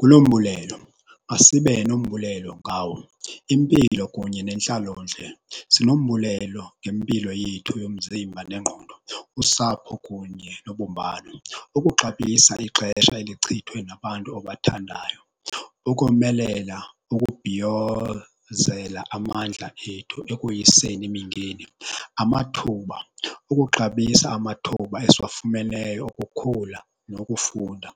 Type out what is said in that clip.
Kulo mbulelo, asibe nombulelo ngawo. Impilo kunye nentlalontle, sinombulelo ngempilo yethu yomzimba nengqondo usapho kunye nobumbano. Ukuxabisa ixesha elichithwe nabantu obathandayo, ukomelela nokubhiyozela amandla ethu ekoyiseni imingeni. Amathuba, ukuxabisa amathuba esiyifumeneyo okukhula nokufunda.